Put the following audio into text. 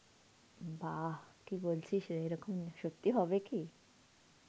বাহঃ! কি বলছিস রে? এরকম সত্যি হবে কি?